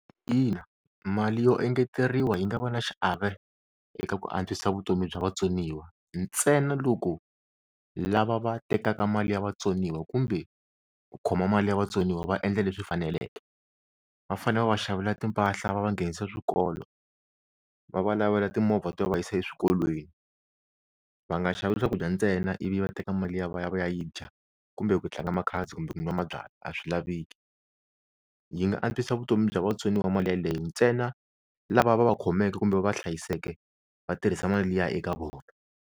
Ina mali yo engeteriwa yi nga va na xiave eka ku antswisa vutomi bya vatsoniwa, ntsena loko lava va tekaka mali ya vatsoniwa kumbe ku khoma mali ya vatsoniwa va endla leswi faneleke, va fane va va xavela timpahla va va nghenisa swikolo, va va lavela timovha to va yisa eswikolweni, va nga xavi swakudya ntsena ivi va teka mali liya va ya va ya yi dya kumbe ku tlanga makhazi kumbe ku nwa mabyalwa a swi laveki. Yi nga antswisa vutomi bya vatsoniwa mali yaleyo ntsena lava va va khomeke kumbe va hlayiseke va tirhisa mali liya eka vona.